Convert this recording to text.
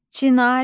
Çinarə.